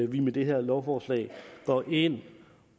vi med det her lovforslag går ind